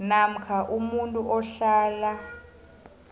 namkha umuntu ohlala